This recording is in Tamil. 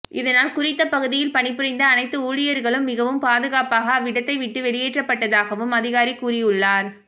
இதனால் குறித்த பகுதியில் பணிபுரிந்த அனைத்து ஊழியர்களும் மிகவும் பாதுகாப்பாக அவ்விடத்தை விட்டு வெளியேற்றப்பட்டதாகவும் அதிகாரி கூறியுள்ளார்